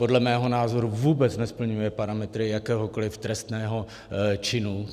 Podle mého názoru vůbec nesplňuje parametry jakéhokoliv trestného činu.